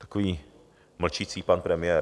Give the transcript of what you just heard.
Takový mlčící pan premiér.